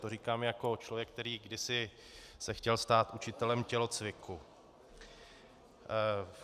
To říkám jako člověk, který kdysi se chtěl stát učitelem tělocviku.